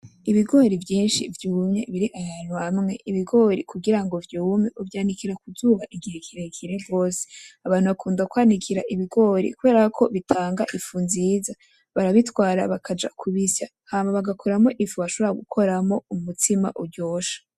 Ibigori vyinshi vyumye biri ahantu hamwe ibigori kugirango vyume uvyanikira kuzuba igihe kirekire rwose abantu bakunda kwanikira ibigori kubera ko bitanga ifu nziza barabitwara bakajya kubisya hama bagakuramo ifu washobora gukoramo umutsima uryoshe.